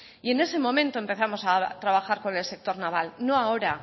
y en ese momento empezamos a trabajar con el sector naval no ahora